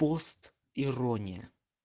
пост ирония